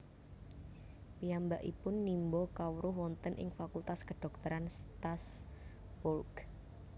Piyambakipun nimba kawruh wonten ing Fakultas Kedhokteran Strasbourg